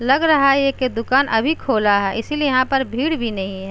लग रहा कि ये दुकान अभी खोला है इसलिए यहां पर भीड़ भी नहीं हैं।